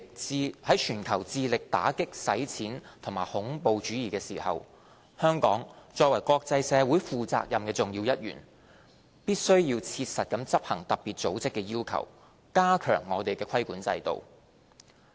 在全球致力打擊洗錢與恐怖主義之際，香港作為國際社會負責任的重要一員，必須切實執行特別組織的要求，加強我們的規管制度。